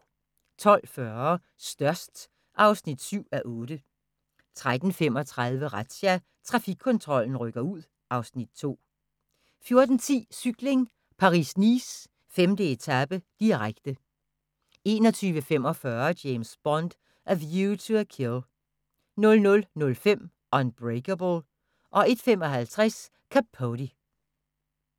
12:40: Størst (7:8) 13:35: Razzia – Trafikkontrollen rykker ud (Afs. 2) 14:10: Cykling: Paris-Nice - 5. etape, direkte 21:45: James Bond: A View to a Kill 00:05: Unbreakable 01:55: Capote